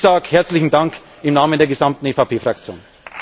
Ich sage herzlichen Dank im Namen der gesamten EVP Fraktion.